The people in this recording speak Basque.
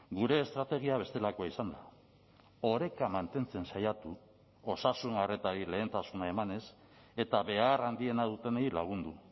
gure estrategia bestelakoa izan da oreka mantentzen saiatu osasun arretari lehentasuna emanez eta behar handiena dutenei lagundu